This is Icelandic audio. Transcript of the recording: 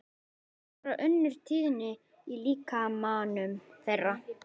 Það er bara önnur tíðni í líkamanum þeirra.